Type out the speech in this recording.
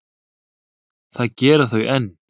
Það gera þau enn.